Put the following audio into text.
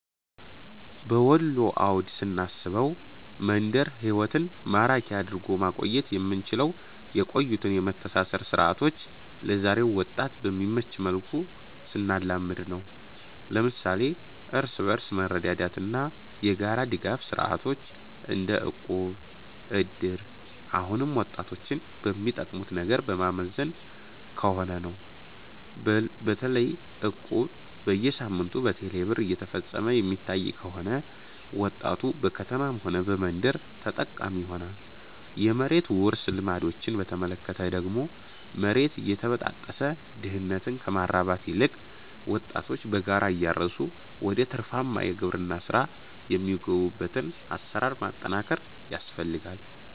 በወሎ አውድ ስናስበው፣ መንደር ህይወትን ማራኪ አድርጎ ማቆየት የምንችለው የቆዩትን የመተሳሰር ሥርዓቶች ለዛሬው ወጣት በሚመች መልኩ ስናላምድ ነው። ለምሳሌ እርስ በርስ መረዳዳትና የጋራ ድጋፍ ሥርዓቶች - እንደ እቁብ፣ እድር - አሁንም ወጣቶችን በሚጠቀሙት ነገር በማዘመን ከሆነ ነው። በተለይ እቁብ በየሳምንቱ በቴሌ ብር እየተፈፀመ የሚታይ ከሆነ፣ ወጣቱ በከተማም ሆነ በመንደር ተጠቃሚ ይሆናል። የመሬት ውርስ ልማዶችን በተመለከተ ደግሞ፣ መሬት እየተበጣጠሰ ድህነትን ከማራባት ይልቅ ወጣቶች በጋራ እያረሱ ወደ ትርፋማ የግብርና ሥራ የሚገቡበትን አሰራር ማጠናከር ያስፈልጋል